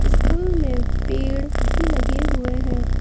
School में पेड़ भी लगे हुए हैं।